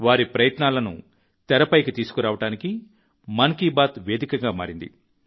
వారి ప్రయత్నాలను తెరపైకి తీసుకురావడానికి మన్ కీ బాత్ వేదికగా మారింది